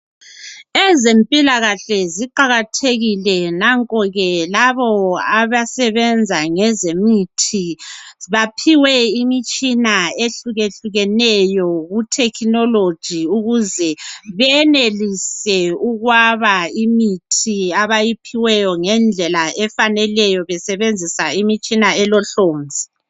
Ezempilakahle ziqakathekile nanko ke labo abasebenza ngezemithi baphiwe imitshina ehlukehlukeneyo ku thekhinoloji ukuze benelise ukwaba imithi abayiphiweyo ngendlela efaneleyo besebenzisa imitshina elohlonzi.